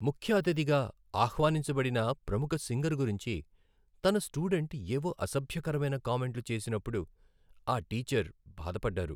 ముఖ్య అతిథిగా ఆహ్వానించబడిన ప్రముఖ సింగర్ గురించి తన స్టూడెంట్ ఏవో అసభ్యకరమైన కామెంట్లు చేసినప్పుడు ఆ టీచర్ బాధపడ్డారు.